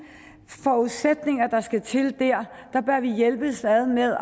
forudsætninger der skal til bør vi hjælpes ad med